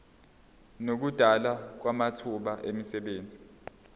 nokudalwa kwamathuba emisebenzi